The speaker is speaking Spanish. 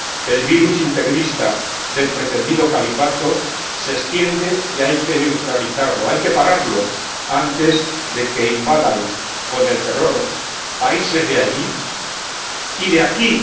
El virus integrista del pretendido califato se extiende y hay que neutralizarlo, hay que pararlo antes de que invada con el terror países de allí y de aquí.